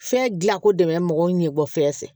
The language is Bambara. Fɛn gilako dɛmɛn mɔgɔw ɲɛ bɔ fɛn fɛ